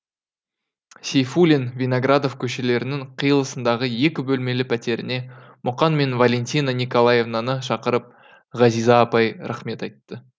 сейфуллин виноградов көшелерінің қиылысындағы екі бөлмелі пәтеріне мұқаң мен валентина николаевнаны шақырып ғазиза апай рахмет айтты